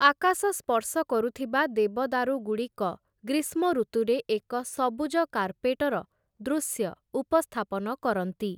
ଆକାଶ ସ୍ପର୍ଶକରୁଥିବା ଦେବଦାରୁଗୁଡ଼ିକ ଗ୍ରୀଷ୍ମ ଋତୁରେ ଏକ ସବୁଜ କାର୍ପେଟର ଦୃଶ୍ୟ ଉପସ୍ଥାପନ କରନ୍ତି ।